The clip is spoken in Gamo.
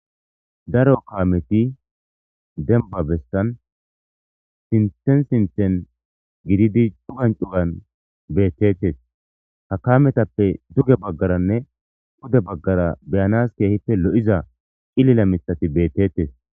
Daro kaameti dembba bessan sinthen sinthen gididi cugan cugan beettetes. Ha kaametappe duge baggaranne pude baggara be7anas keehife lo7iza cilila mithati beettettes.